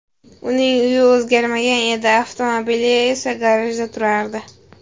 Uning uyi o‘zgarmagan edi, avtomobili esa garajda turardi.